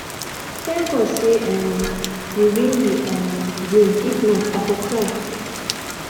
thank god say um we win the um game if not i for cry